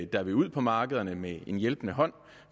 der vil ud på markederne med en hjælpende hånd